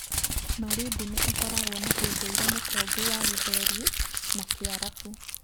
Malindi nĩ ĩkoragwo na ũndũire mũtongu wa Gĩthweri na Kĩarabu.